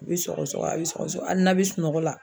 A be sɔgɔsɔgɔ a be sɔgɔsɔgɔ ali n'a be sunɔgɔ la